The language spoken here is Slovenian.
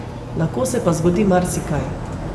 Lahko se pa zgodi marsikaj.